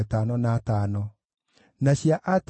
na andũ a Mikimashi maarĩ 122